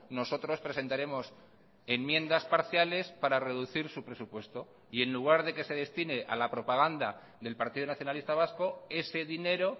nosotros presentaremos enmiendas parciales para reducir su presupuesto y en lugar de que se destine a la propaganda del partido nacionalista vasco ese dinero